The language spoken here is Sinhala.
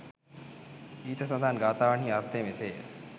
ඉහත සඳහන් ගාථාවන්හි අර්ථය මෙසේ ය.